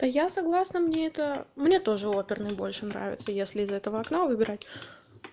то я согласна мне это мне тоже оперный больше нравится если из этого окна выбирать